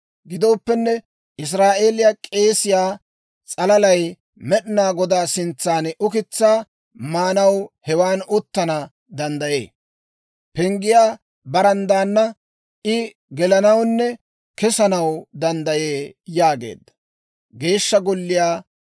Gidooppenne, Israa'eeliyaa k'eesiyaa s'alalay Med'inaa Godaa sintsan ukitsaa maanaw hewan uttana danddayee. Penggiyaa baranddaana I gelanawunne kesanaw danddayee» yaageedda.